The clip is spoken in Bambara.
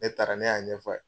Ne taara ne y'a ɲɛf'ale ye.